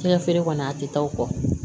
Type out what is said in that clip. Fɛnkɛ feere kɔni a tɛ taa o kɔ